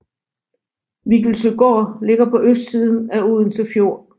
Viggelsøgård ligger på østsiden af Odense Fjord